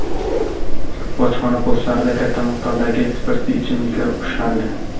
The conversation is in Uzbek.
Bojxona postlarida katta miqdordagi spirtli ichimliklar ushlandi.